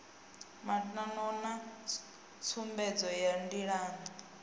matano na tsumbedzo ya ndilani